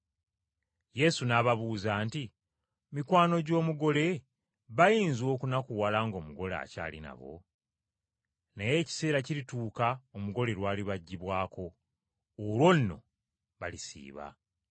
Yesu n’ababuuza nti, “Mikwano gy’omugole bayinza okunakuwala ng’omugole akyali nabo? Naye ekiseera kirituuka omugole lwalibaggibwako. Olwo nno balisiiba.